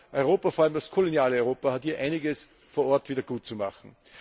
Ich glaube, Europa, vor allem das koloniale Europa, hat hier einiges vor Ort wiedergutzumachen.